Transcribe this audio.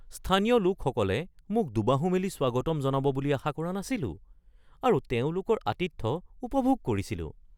স্থানীয় লোকসকলে মোক দুবাহু মেলি স্বাগতম জনাব বুলি আশা কৰা নাছিলোঁ আৰু তেওঁলোকৰ আতিথ্য উপভোগ কৰিছিলোঁ৷